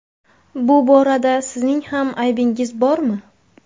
Bu borada sizning ham aybingiz bormi?